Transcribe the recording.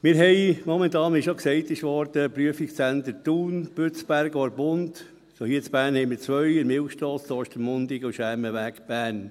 Wir haben momentan, wie bereits gesagt wurde, die Prüfungszentren Thun, Bützberg, Orpund, und hier in Bern haben wir zwei: an der Milchstrasse in Ostermundigen und am Schermenweg in Bern.